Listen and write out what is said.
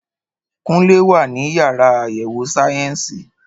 Kúnlé wà ní yàrá àyẹ̀wò sáyẹ́ǹsì